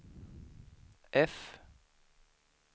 F